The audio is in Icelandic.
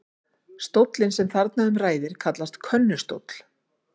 Stóllinn sem þarna um ræðir kallast könnustóll.